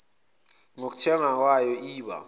nokuthengwa kwayo iba